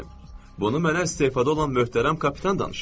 Bunu mənə istefada olan möhtərəm kapitan danışıb.